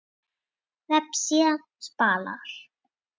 Vefsíða Spalar